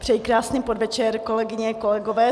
Přeji krásný podvečer, kolegyně, kolegové.